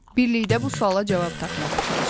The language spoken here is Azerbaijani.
Birlikdə bu suala cavab tapmağa çalışaq.